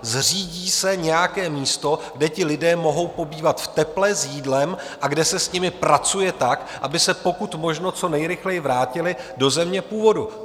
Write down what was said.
Zřídí se nějaké místo, kde ti lidé mohou pobývat v teple, s jídlem a kde se s nimi pracuje tak, aby se pokud možno co nejrychleji vrátili do země původu.